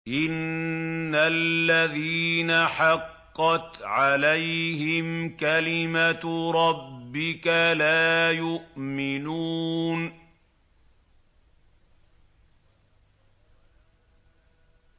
إِنَّ الَّذِينَ حَقَّتْ عَلَيْهِمْ كَلِمَتُ رَبِّكَ لَا يُؤْمِنُونَ